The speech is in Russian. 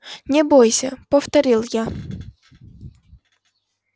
не бойся повторил я